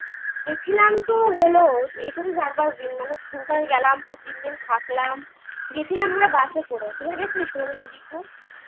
হল এখানে চার পাঁচদিন মানে দুই তিনদিন থাকলাম গেসিলাম আমরা bus করে